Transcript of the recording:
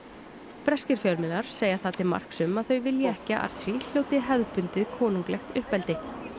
breskir fjölmiðlar segja það til marks um að þau vilji ekki að Archie hljóti hefðbundið konunglegt uppeldi